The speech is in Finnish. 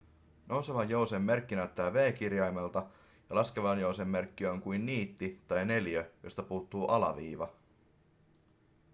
nousevan jousen merkki näyttää v-kirjaimelta ja laskevan jousen merkki on kuin niitti tai neliö josta puuttuu alaviiva